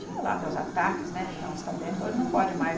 Tinha lá meus ataques, né, de dar uns tabefes, hoje não pode mais.